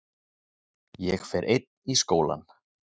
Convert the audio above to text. Ég fer einn í skólann.